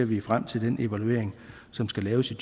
vi frem til den evaluering som skal laves i